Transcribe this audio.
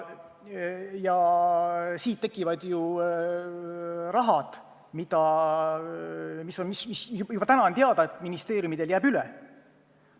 Ja nii tekivad summad, mis – juba täna on see teada – ministeeriumidel jäävad üle.